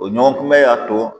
O ɲɔgɔn kunbɛ y'a to